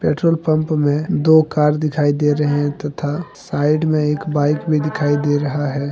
Petrol pump में दो car दिखाई दे रहे हैं तथा साइड में एक बाइक भी दिखाई दे रहा है।